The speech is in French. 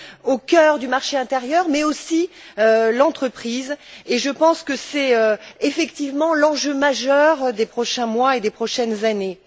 au cœur du marché intérieur, mais aussi l'entreprise, et je pense que c'est effectivement l'enjeu majeur des prochains mois et des prochaines années.